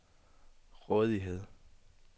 rådighed